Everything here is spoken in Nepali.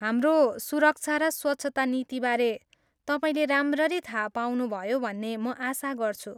हाम्रो सुरक्षा र स्वच्छता नीतिबारे तपाईँले राम्ररी थाहा पाउनुभयो भन्ने म आशा गर्छु।